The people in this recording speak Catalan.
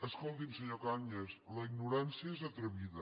escolti’m senyor cañas la ignorància és atrevida